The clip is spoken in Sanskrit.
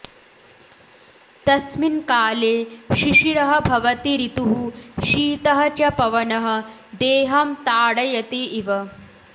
तस्मिन् काले शिशिरः भवति ऋतुः शीतः च पवनः देहं ताडयति इव